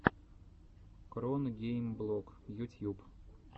кронгеймблог ютьюб